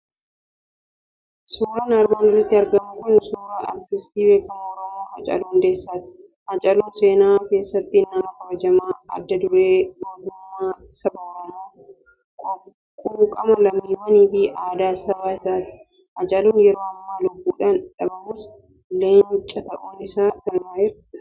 Suuraan armaan olitti argamu kun suura artistii beekamaa Oromoo, Haacaaluu Hundeessaati. Haacaaluun seenaa keessatti nama kabajamaa, adda duree gootummaa saba Oromoo, quuqamaa lammiiwwanii fi aadaa saba isaati. Haacaaluun yeroo ammaa lubbuudhaan dhabamus, leenca ta'uun seenaan galmaa'eera.